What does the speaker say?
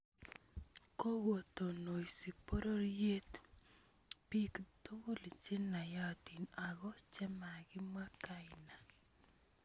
Kokotononsi bororiet bik tugul che naayatiin ako makimwa kayna